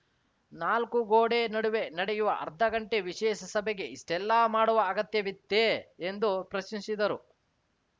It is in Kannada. ನಾಲ್ಕು ಗೋಡೆ ನಡುವೆ ನಡೆಯುವ ಅರ್ಧಗಂಟೆ ವಿಶೇಷ ಸಭೆಗೆ ಇಷ್ಟೆಲ್ಲಾ ಮಾಡುವ ಅಗತ್ಯವಿತ್ತೇ ಎಂದು ಪ್ರಶ್ನಿಸಿದರು